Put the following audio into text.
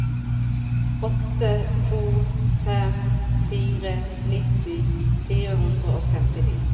åtte to fem fire nitti fire hundre og femtini